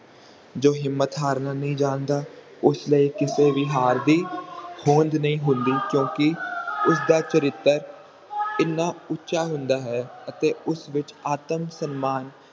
ਜੋ ਹਿੰਮਤ ਹਾਰਨਾ ਨਹੀਂ ਜਾਂਦਾ ਉਸ ਦੇ ਲਈ ਕਿਸੇ ਵੀ ਹਰ ਦੀ ਹੋਂਦ ਨਹੀਂ ਹੁੰਦੀ ਕਿਉਂਕਿ ਉਸ ਦਾ ਚਰਿੱਤਰ ਹਨ ਉੱਚਾ ਹੁੰਦਾ ਹੈ ਅਤੇ ਉਸ ਵਿਚ ਆਤਮ ਸਨਮਾਨ